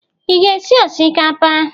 Ị ga-esi osikapa?